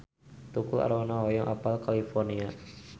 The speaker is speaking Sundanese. Tukul Arwana hoyong apal California